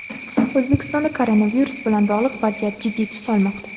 O‘zbekistonda koronavirus bilan bog‘liq vaziyat jiddiy tus olmoqda.